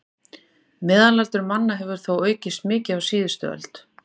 Meðalaldur manna hefur þó aukist mikið á síðustu öld.